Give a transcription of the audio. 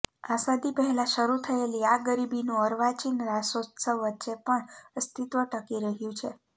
આઝાદી પહેલા શરૂ થયેલી આ ગરબીનું અર્વાચીન રાસોત્સવ વચ્ચે પણ અસ્તિત્વ ટકી રહ્યું છે